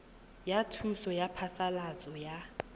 ya thuso ya phasalatso ya